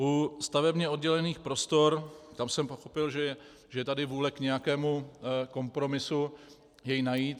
U stavebně oddělených prostor, tam jsem pochopil, že je tady vůle k nějakému kompromisu jej najít.